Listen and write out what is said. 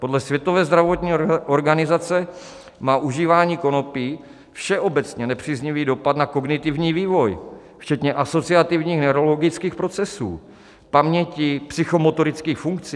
Podle Světové zdravotní organizace má užívání konopí všeobecně nepříznivý dopad na kognitivní vývoj včetně asociativních neurologických procesů, paměti, psychomotorických funkcí.